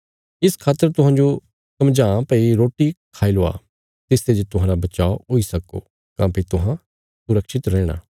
इस खातर तुहांजो समझां भई रोटी खाई लवा तिसते जे तुहांरा बचाव हुई सक्को काँह्भई तुहां सुरक्षित रैहणा